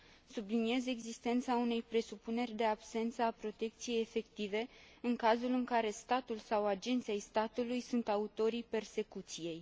Subliniez existența unei presupuneri de absență a protecției efective în cazul în care statul sau agenți ai statului sunt autorii persecuției.